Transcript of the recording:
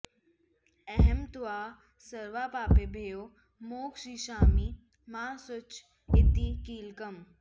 अहं त्वा सर्वपापेभ्यो मोक्षयिष्यामि मा शुच इति कीलकम्